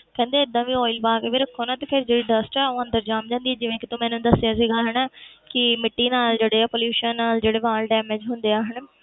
ਕਹਿੰਦੇ ਏਦਾਂ ਵੀ oil ਪਾ ਕੇ ਵੀ ਰੱਖੋ ਨਾ ਤੇ ਫਿਰ ਜਿਹੜੀ dust ਹੈ ਉਹ ਅੰਦਰ ਜਮ ਜਾਂਦੀ ਹੈ ਜਿਵੇਂ ਕਿ ਤੂੰ ਮੈਨੂੰ ਦੱਸਿਆ ਸੀਗਾ ਹਨਾ ਕਿ ਮਿੱਟੀ ਨਾਲ ਜਿਹੜੇ ਆ pollution ਨਾਲ ਜਿਹੜੇ ਵਾਲ damage ਹੁੰਦੇ ਆ ਹਨਾ,